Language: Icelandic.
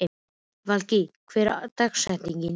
Valgý, hver er dagsetningin í dag?